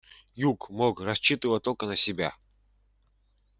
юг мог рассчитывать только на себя